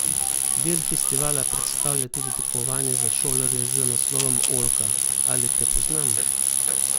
Del festivala predstavlja tudi tekmovanje za šolarje z naslovom Oljka, ali te poznam?